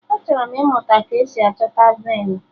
Achọrọ m ịmụta ka-esi achọta venu